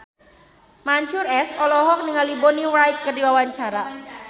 Mansyur S olohok ningali Bonnie Wright keur diwawancara